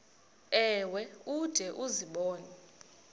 ewe ude uzibone